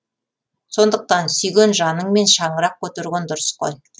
сондықтан сүйген жаныңмен шаңырақ көтерген дұрыс қой